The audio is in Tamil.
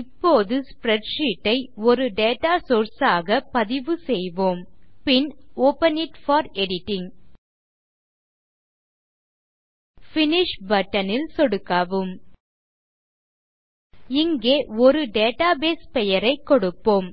இப்போது ஸ்ப்ரெட்ஷீட் ஐ ஒரு டேட்டா சோர்ஸ் ஆக பதிவுசெய்வோம் பின் open it for editing finish button ல் சொடுக்கவும் இங்கே ஒரு டேட்டாபேஸ் பெயரைக் கொடுப்போம்